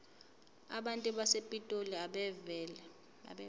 abantu basepitoli abeve